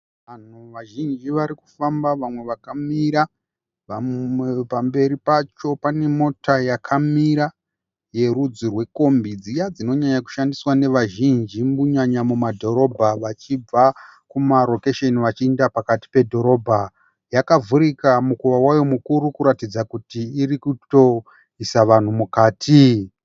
Vanhu vazhinji vari kufamba vamwe vakamira. Vamwe pamberi pacho pane mota yakamira yorudzi rwekombi, dziya dzinonyanya kushandiswa nevazhinji kunyanya mumadhorobha vachibva kumarokesheni vachienda pakati pedhorobha. Yakavhurika mukova wayo mukuru kuratidza kuti iri kutoisa vanhu mukati.